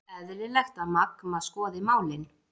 Eðlilegt að Magma skoði málin